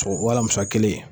O o alamisa kelen